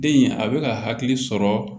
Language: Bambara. Den in a bɛ ka hakili sɔrɔ